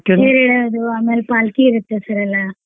ತೇರ್ ಏಳಿಯೋದು ಆಮೇಲ್ पालकी ಇರುತ್ತೆ sir ಎಲ್ಲಾ.